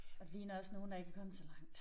Og de ligner også nogle der ikke er kommet så langt